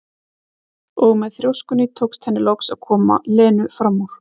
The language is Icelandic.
Og með þrjóskunni tókst henni loks að koma Lenu fram úr.